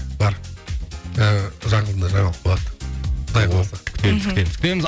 бар ыыы жақында жаңалық болады құдай қаласа күтеміз күтеміз күтеміз